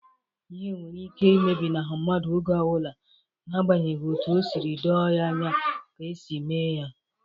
lhe nwere ike imebinahu mmadu oge obula n'agbanyeghi otu o siri doo ya anya ka e si eme ya.